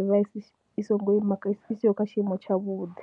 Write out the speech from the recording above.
i vha i songo ima i siho kha tshiimo tshavhuḓi.